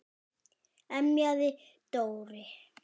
emjaði Dóri.